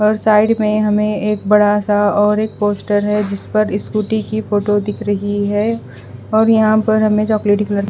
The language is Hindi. और साइड में हमें एक बड़ा सा और एक पोस्टर है जिस पर स्कूटी की फोटो दिख रही है और यहां पर हमें चॉकलेटी कलर --